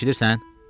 Eşidirsən?